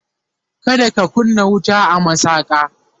kada ka kunna wuta a masaka!